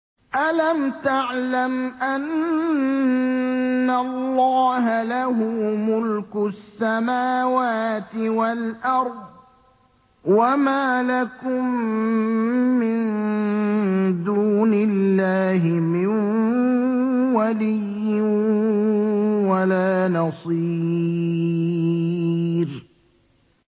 أَلَمْ تَعْلَمْ أَنَّ اللَّهَ لَهُ مُلْكُ السَّمَاوَاتِ وَالْأَرْضِ ۗ وَمَا لَكُم مِّن دُونِ اللَّهِ مِن وَلِيٍّ وَلَا نَصِيرٍ